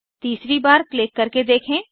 तीसरी बार क्लिक करके देखें